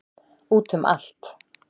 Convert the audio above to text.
Út um allt.